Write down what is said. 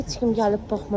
Heç kim gəlib baxmır.